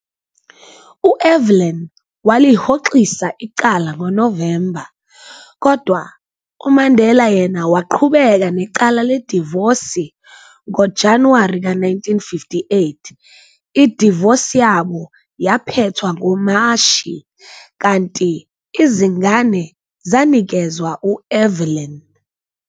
U-Evelyn walihoxisa icala ngoNovemba, kodwa uMandela yena waqhubeka necala ledivosi ngoJanuwari ka 1958, idivosi yabo yaphethwa ngoMashi, kanti izingane zanikezwa u-Evelyn.